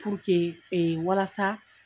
Puruke walasa